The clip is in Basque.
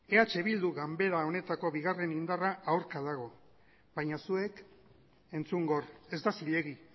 eh bildu ganbara honetako bigarren indarra aurka dago baina zuek entzun gor ez da zilegi